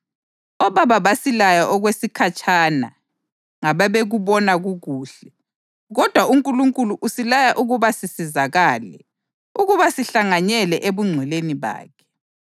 Obaba basilaya okwesikhatshana ngababekubona kukuhle, kodwa uNkulunkulu usilaya ukuba sisizakale, ukuba sihlanganyele ebungcweleni bakhe.